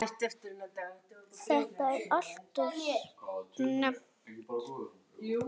Þetta er alltof snemmt.